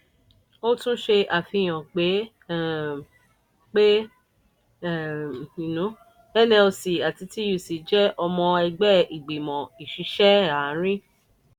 ó tún ṣe àfihàn pé um pé um nlc àti tuc jẹ́ ọmọ ẹgbẹ́ ìgbìmọ̀ ìṣiṣẹ́ àárín.